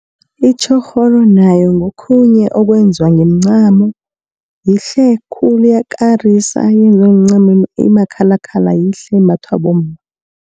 Itjhorholo nayo ngokhunye okwenziwa ngomncamo, yihle khulu iyakarisa yenziwe ngemncamo emakhalakhala yihle imbathwa bomma.